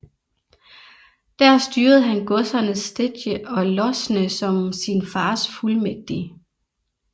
Der styrede han godserne Stedje og Losne som sin fars fuldmægtig